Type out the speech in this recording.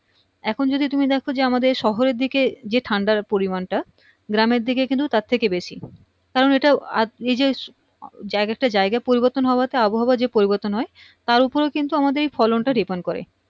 এখন যদি তুমি দেখো যে আমাদের শহরের দিকে যে ঠান্ডার পরিমানটা গ্রামের দিকে কিন্তু তার থেকে বেশি কারণ এইটা এইযে জায়গা পরিবর্তন হওয়াতে আবহাওয়ার যে পরিবর্তন হয় তার ওপরেও কিন্তু আমাদের ফলনটা depend করে